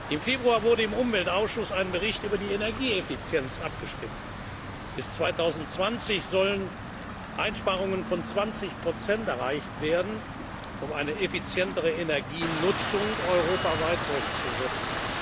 atomarem Abfall. Im Februar wurde im Umweltausschuss über einen Bericht über die Energieeffizienz abgestimmt. Bis 2020 sollen Einsparungen von 20 Prozent erreicht werden, um eine effizientere Energienutzung europaweit